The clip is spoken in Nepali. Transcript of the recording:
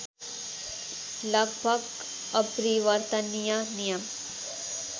लगभग अपरिवर्तनीय नियम